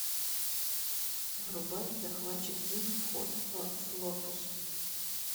врубай захватчик зим вход в флорпус